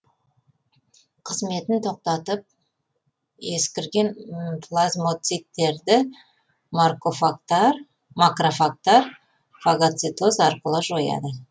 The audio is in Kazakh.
қызметін тоқтатып ескірген плазмоциттерді макрофагтар фагоцитоз арқылы жояды